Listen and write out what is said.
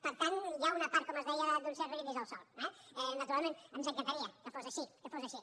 per tant hi ha una part com els deia d’un cert brindis al sol eh naturalment ens encantaria que fos així que fos així